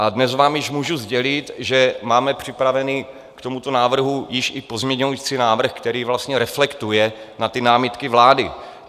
A dnes vám již můžu sdělit, že máme připraven k tomuto návrhu již i pozměňovací návrh, který vlastně reflektuje na ty námitky vlády.